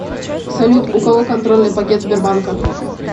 салют у кого контрольный пакет сбербанка